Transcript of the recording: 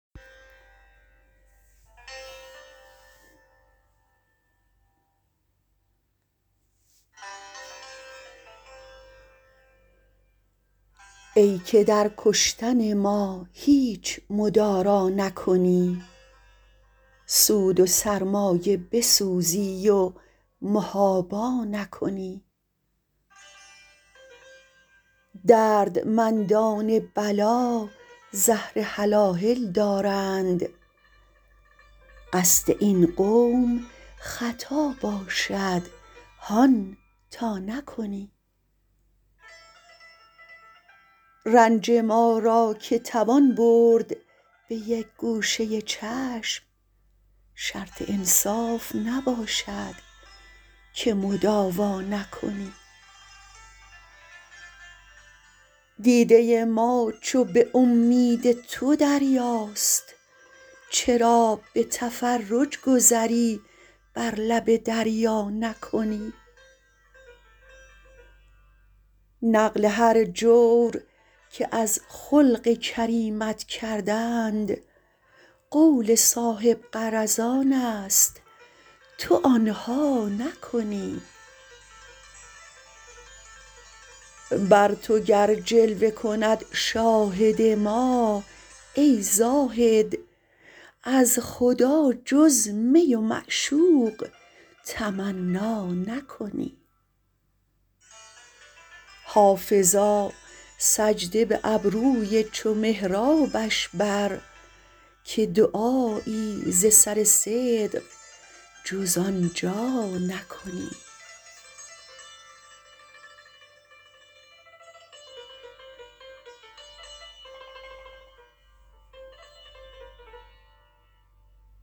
ای که در کشتن ما هیچ مدارا نکنی سود و سرمایه بسوزی و محابا نکنی دردمندان بلا زهر هلاهل دارند قصد این قوم خطا باشد هان تا نکنی رنج ما را که توان برد به یک گوشه چشم شرط انصاف نباشد که مداوا نکنی دیده ما چو به امید تو دریاست چرا به تفرج گذری بر لب دریا نکنی نقل هر جور که از خلق کریمت کردند قول صاحب غرضان است تو آن ها نکنی بر تو گر جلوه کند شاهد ما ای زاهد از خدا جز می و معشوق تمنا نکنی حافظا سجده به ابروی چو محرابش بر که دعایی ز سر صدق جز آن جا نکنی